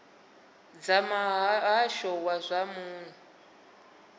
dza muhasho wa zwa muno